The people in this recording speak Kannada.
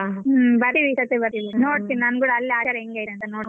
ಹ್ಮ್ ಬರ್ತಿವಿ ಈ ಸಾತಿ ಬರ್ತೀವಿ ನೋಡ್ತೀನಿ ನಾನ್ ಕೂಡ ಅಲ್ಲಿ ಆಚಾರ ಎಂಗೆ ಐತೆ ಅಂತ ನೋಡ್ತೀನಿ.